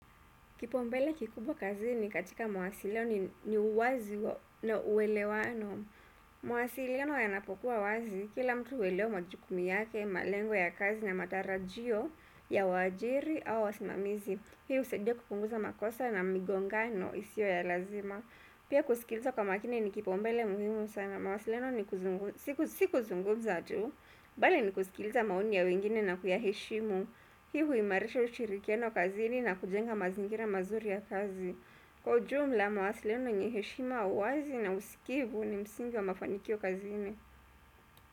Kipaumbele kikubwa kazini katika mawasiliano ni uwazi na uwelewano. Mawasilo yanapokuwa wazi, kila mtu huelewa majukumu yake, malengo ya kazi na matarajio ya wajiri au wasimamizi. Hiu husaidia kupunguza makosa na migongano isiyo ya lazima. Pia kusikilza kwa maakini ni kipaumbele muhimu sana. Mwasiliano si kuzungumza tu, bali ni kusikilza maoni ya wengine na kuyaheshimu. Hi huimarisha ushirikiano kazini na kujenga mazingira mazuri ya kazi kwa ujumla mawasiliano yenyeheshima uwazi na usikivu ni msingi wa mafanikio kazini.